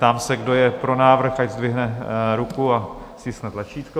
Ptám se, kdo je pro návrh, ať zdvihne ruku a stiskne tlačítko.